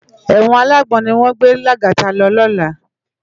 Èwòn àlágbòn niwòn gbé Lagata lò lòlá